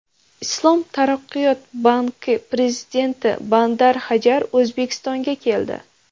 Islom taraqqiyot banki prezidenti Bandar Hajar O‘zbekistonga keldi.